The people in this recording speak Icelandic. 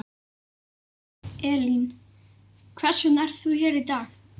Elín: Hvers vegna er þú hér í dag?